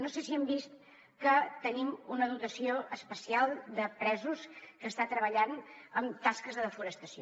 no sé si han vist que tenim una dotació especial de presos que està treballant en tasques de desforestació